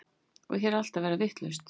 Og hér er allt að verða vitlaust.